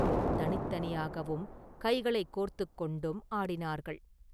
தனித்தனியாகவும் கைகளைக் கோத்துக் கொண்டும் ஆடினார்கள்.